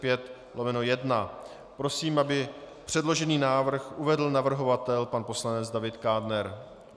Prosím, aby předložený návrh uvedl navrhovatel, pan poslanec David Kádner.